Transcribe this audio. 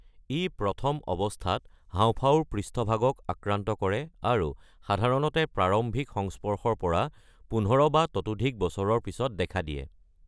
ই প্ৰথম অৱস্থাত হাঁওফাঁওৰ পৃষ্ঠভাগক আক্ৰান্ত কৰে আৰু সাধাৰণতে প্ৰাৰম্ভিক সংস্পৰ্শৰ পৰা ১৫ বা ততোধিক বছৰৰ পিছত দেখা দিয়ে।